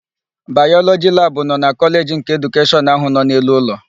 Bayọlọjị labụ nọ na Kọleji nke Edukeshọn áhụ̀ nọ n'elu ụlọ.